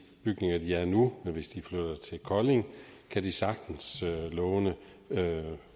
bygninger de er i nu men hvis de flytter til kolding kan de sagtens låne